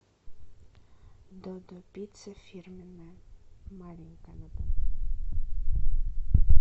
додо пицца фирменная маленькая